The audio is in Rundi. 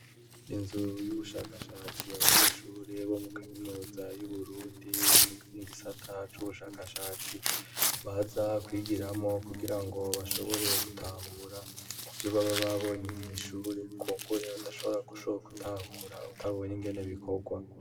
Inzu y'ubushakashatsi abanyeshure bo mu Kaminuza y'Uburundi mu Gisata c'Ubushakashatsi baza kwigiramo kugira ngo bashobore gutahura ivyo baba babonye mw'ishure kumbure udashobora gushoka gutahura utabonye ingene bikorwa.